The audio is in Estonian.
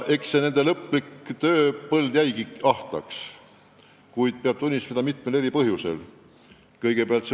Eks nende tööpõld jäigi viimasel ajal mitmel põhjusel ahtaks.